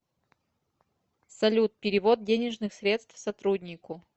салют перевод денежных средств сотруднику